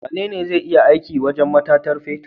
Wane zai iya aiki a wajan matatar fetir?